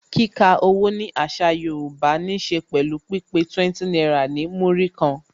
Kika owó ni àṣà Yorùbá ní se pẹ̀lú pípé 20 náírà ní Múrí kan